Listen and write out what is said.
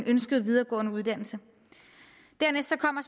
ønskede videregående uddannelse dernæst kommer